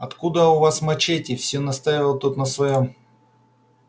откуда у вас мачете все настаивал тот на своём